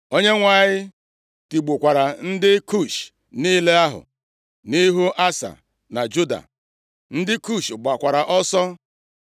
Onyenwe anyị tigbukwara ndị Kush niile ahụ nʼihu Asa na Juda. Ndị Kush gbakwara ọsọ.